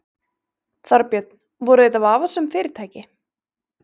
Þorbjörn: Voru þetta vafasöm fyrirtæki?